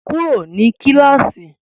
Kúrò ní kíláàsì!